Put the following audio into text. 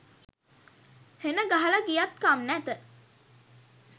හෙනගහල ගියත් කම් නැත.